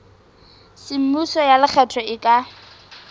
semmuso ya lekgetho e ka